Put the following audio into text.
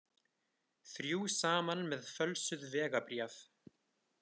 Þrjú saman með fölsuð vegabréf